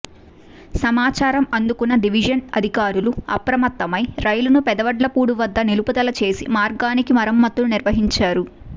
సమాచారం అందుకున్న డివిజన్ అధికారులు అప్రమత్తమై రైలును పెదవడ్లపూడి వద్ద నిలుపుదల చేసి మార్గానికి మరమ్మతులు నిర్వహించారు